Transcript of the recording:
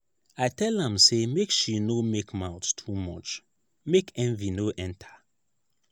i tell am sey make she no make mouth too much make envy no enter.